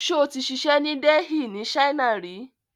Ṣó ti ṣiṣę ni Delhi ni China rí ni?